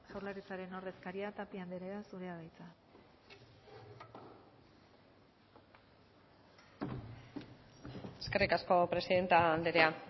jaurlaritzaren ordezkaria tapia anderea zurea da hitza eskerrik asko presidente anderea